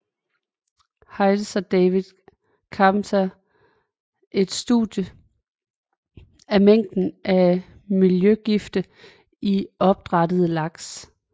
Hites og David Carpenter et studie af mængden af miljøgifte i opdrættede laks